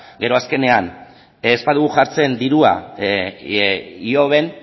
gero azkenean ez badugu jartzen dirua ihoben